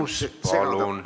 Küsimus palun!